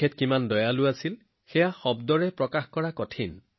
তেওঁ কিমান দয়ালু আছিল সেয়া শব্দৰে প্ৰকাশ কৰিব নোৱাৰি